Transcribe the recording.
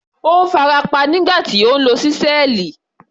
Ó farapa nígbà tí ó ń lo ṣísẹ́ẹ̀lì.